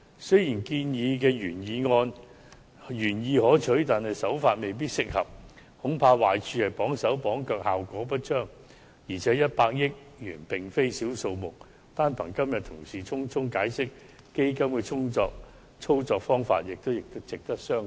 雖然建議的原意可取，但手法未必適合，恐怕壞處是綁手綁腳，效果不彰，而且100億元並非小數目，單憑同事今天匆匆解釋有關基金的操作方法，也值得商榷。